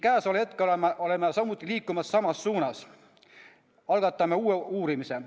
Käesoleval hetkel oleme samuti liikumas samas suunas, me algatame uue uurimise.